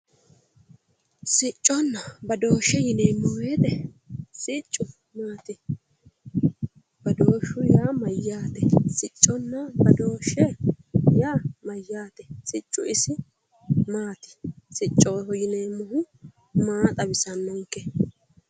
Sicconna badooshshe yineemmo woyte siccu maati badooshshu yaa mayyaate sicconna badooshshe yaa mayyaate siccu isi maati siccoho yineemmohu maa xawisannonke